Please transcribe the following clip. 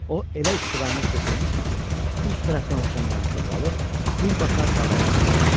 O elə istiqamət götürmüşdü ki, üst tərəfdən uçan qanadlı balıq birbaşa qabağına düşsün.